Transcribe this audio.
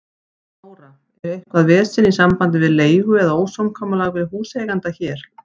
Þóra: Er eitthvað vesen í sambandi við leigu eða ósamkomulag við húseiganda hér?